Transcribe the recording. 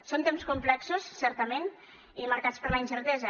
són temps complexos certament i marcats per la incertesa